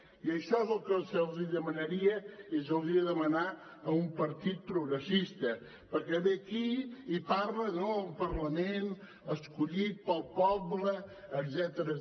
i això és el que se li demanaria i se li hauria de demanar a un partit progressista perquè ve aquí i parla no un parlament escollit pel poble etcètera